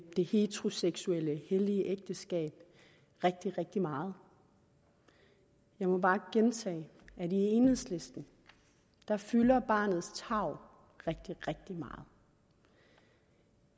det heteroseksuelle hellige ægteskab rigtig rigtig meget jeg må bare gentage at i enhedslisten fylder barnets tarv rigtig rigtig meget